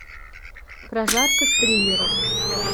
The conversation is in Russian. прожарка стримеров